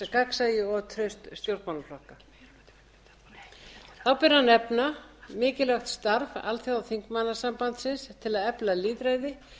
gagnsæi og traust stjórnmálaflokka þá ber að nefna mikilvægt starf alþjóðaþingmannasambandsins til að efla lýðræði